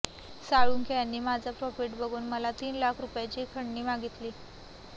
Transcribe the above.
साळुंखे यांनी माझा प्रॉफिट बघून मला तीन लाख रुपयांची खंडणी मागितली